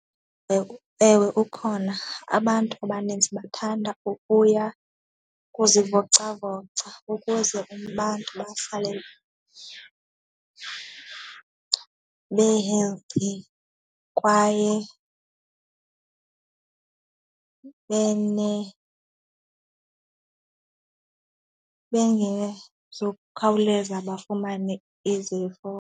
Ewe, ewe ukhona. Abantu abaninzi bathanda ukuya kuzivocavoca ukuze abantu bahlale be-healthy kwaye bengezukukhawuleza bafumane izifo.